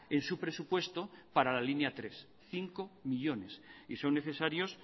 en su presupuesto para la línea tres cinco millónes y son necesarios